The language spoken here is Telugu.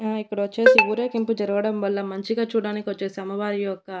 ఆ ఇక్కడ వచ్చేసి ఊరేగింపు జరగడం వల్ల మంచిగా చూడ్డానికొచ్చేసి అమ్మవారి యొక్క--